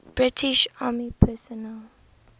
british army personnel